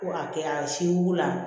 Ko a kɛra siko la